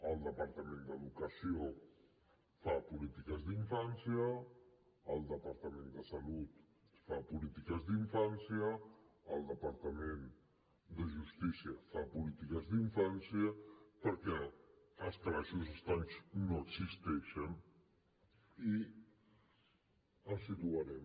el departament d’educació fa polítiques d’infància el departament de salut fa polítiques d’infància el departament de justícia fa polítiques d’infància perquè els calaixos estancs no existeixen i els situarem